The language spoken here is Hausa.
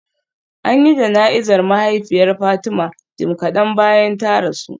An yi jana'izar mahaifiyar Fatima jim kadan bayan ta rasu